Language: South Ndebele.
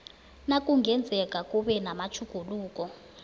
nakungenzeka kube namatjhuguluko